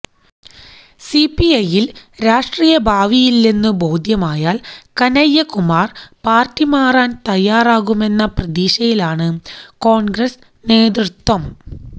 സിപിഐയിൽ രാഷ്ട്രീയ ഭാവിയില്ലെന്നു ബോധ്യമായാൽ കനയ്യ കുമാർ പാർട്ടി മാറാൻ തയാറാകുമെന്ന പ്രതീക്ഷയിലാണു കോൺഗ്രസ് നേതൃത്വം